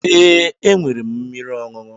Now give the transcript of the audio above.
Ee, enwere m mmiri ọṅụṅụ.